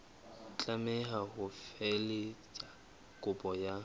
tlameha ho felehetsa kopo ka